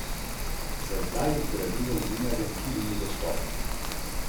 Čeprav smo doma klonile proti Dinamu, to ni tragedija, saj glede zmag ne smemo biti preveč požrešne.